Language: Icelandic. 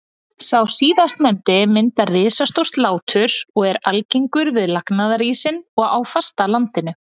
Sá síðastnefndi myndar risastór látur og er algengur við lagnaðarísinn og á fastalandinu.